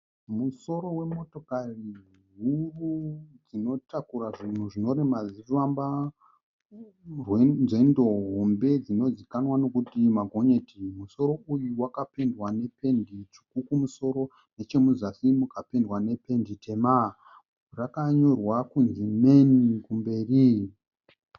Musoro wemotokari huru dzinotakura zvinhu zvinorema zvichifamba nzendo hombe dzinozivikanwa nokuti magonyeti. Musoro uyu wakapendwa nependi tsvuku kumusoro, nechemuzasi mukapendwa nependi tema. zvakanyorwa kunzi "MAN" kumberi.